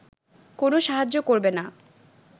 কোন সাহায্য করবে না